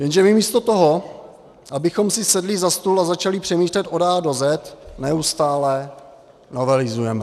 Jenže my místo toho, abychom si sedli za stůl a začali přemýšlet od A do Z, neustále novelizujeme.